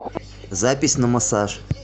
запись на массаж